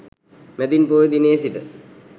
මැදින් පෝය දිනයේ සිට